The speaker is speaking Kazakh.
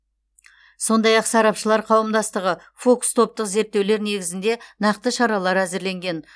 сондай ақ сарапшылар қауымдастығы фокус топтық зерттеулер негізінде нақты шаралар әзірленген